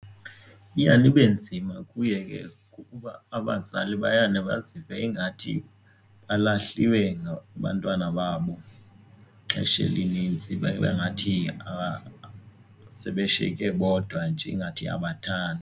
Iyane ibe nzima kuye ke abazali bayana bazive ingathi balahliwe ngabantwana babo, ixesha elinintsi babe ngathi sebeshiyeke bodwa nje ingathi abathandwa.